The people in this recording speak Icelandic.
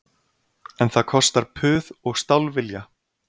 En það kostar puð og stálvilja